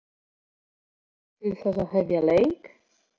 Tilburðir markvarðar til þess að tefja leik?